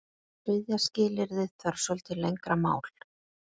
Þriðja skilyrðið þarf svolítið lengra mál.